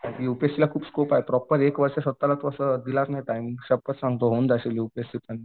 युपीएस्सीला खूप स्कोप आहे प्रॉपर असं तू स्वतःला दिलासा ना टाइम होऊन जाशील यूपीएससी पण